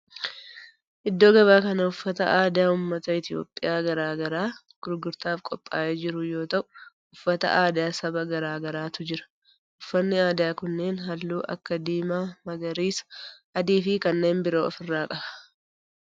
Iddoo gabaa kana uffata aadaa ummata Itiyoophiyaa garaa garaa gurgurtaaf qophaa'ee jiru yoo ta'u uffata aadaa saba garaa garaatu jira. Uffanni aadaa kunneen halluu akka diimaa, magariisa, adii fi kanneen biroo of irraa qaba.